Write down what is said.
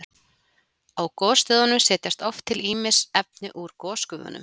Á gosstöðvunum setjast oft til ýmis efni úr gosgufunum.